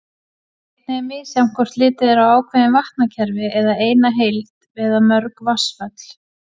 Einnig er misjafnt hvort litið er á ákveðin vatnakerfi sem eina heild eða mörg vatnsföll.